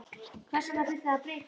Hvers vegna þurfti það að breytast?